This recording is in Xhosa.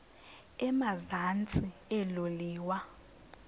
emazantsi elo liwa